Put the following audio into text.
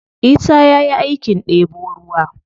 Isa ya yi aikin ɗebo ruwa.